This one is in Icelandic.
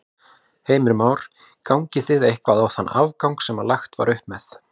Heimir Már: Gangið þið eitthvað á þann afgang sem að lagt var upp með?